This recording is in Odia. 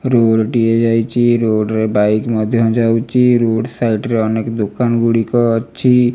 ରୋଡ ଟିଏ ଯାଇଚି ରୋଡ ରେ ବାଇକ ମଧ୍ୟ ଯାଉଚି ରୋଡ ସାଇଡ ରେ ଅନେକ ଦୋକାନ ଗୁଡ଼ିକ ଅଛି।